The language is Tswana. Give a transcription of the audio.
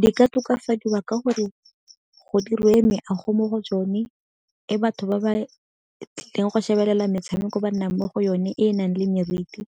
Di ka tokafadiwa ka gore go diriwe meago mo go tsone, e batho ba ba tlileng go shebelela metshameko ba nnang mo go yone e e nang le meriti